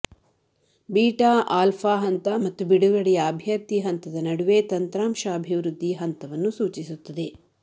beta alpha ಹಂತ ಮತ್ತು ಬಿಡುಗಡೆಯ ಅಭ್ಯರ್ಥಿ ಹಂತದ ನಡುವೆ ತಂತ್ರಾಂಶ ಅಭಿವೃದ್ಧಿ ಹಂತವನ್ನು ಸೂಚಿಸುತ್ತದೆ